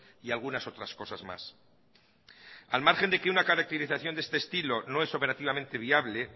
y algunas otras cosas más al margen que una caracterización de este estilo no es operativamente viable